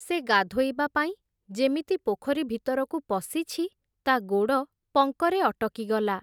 ସେ ଗାଧୋଇବା ପାଇଁ ଯେମିତି ପୋଖରୀ ଭିତରକୁ ପଶିଛି, ତା’ ଗୋଡ଼ ପଙ୍କରେ ଅଟକିଗଲା ।